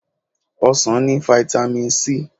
Ọsàn ni fáítámì Si.